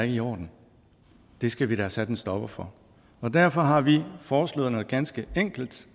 i orden det skal vi da have sat en stopper for derfor har vi foreslået noget ganske enkelt